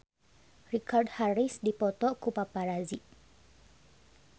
Richard Harris dipoto ku paparazi